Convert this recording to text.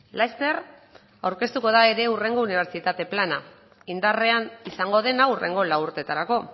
laster aurkeztuko da ere hurrengo unibertsitate plana indarrean izango dena hurrengo lau urteetarako